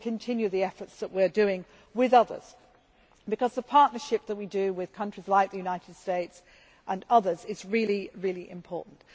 We will continue the efforts that we are making with others, because the partnership that we have with countries like the United States and others is really important.